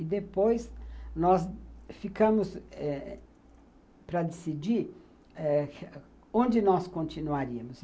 E, depois, nós ficamos para decidir eh onde nós continuaríamos.